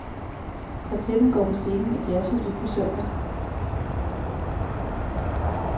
Kvartetten går på scenen i jazzhuset på søndag.